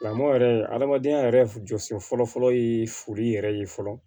Lamɔ yɛrɛ adamadenya yɛrɛ jɔsen fɔlɔfɔlɔ ye foli yɛrɛ ye fɔlɔ